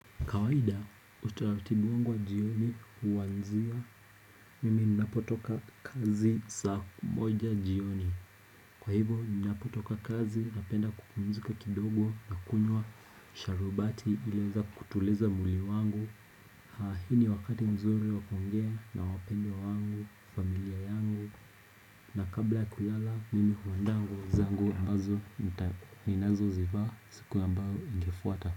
Kawaida utalatibu wangu wa jioni huwanzia mimi napotoka kazi saa moja jioni Kwa hivyoo napotoka kazi napenda kupumzika kidogo na kunywa sharubati ileza kutuleza mwuli wangu Haa hini wakati mzuri wakongea na wapende wangu, familia yangu na kabla kulala mimi huanda wangu zangu ambazo minazo ziva siku ambao ingefuata.